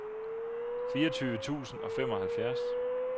fireogtyve tusind og femoghalvfjerds